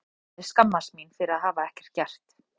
Ég myndi aftur á móti skammast mín fyrir að hafa ekkert gert.